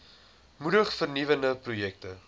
moedig vernuwende projekte